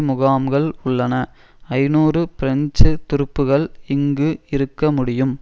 முகாம்கள் உள்ளன ஐநூறு பிரெஞ்சு துருப்புகள் இங்கு இருக்க முடியும்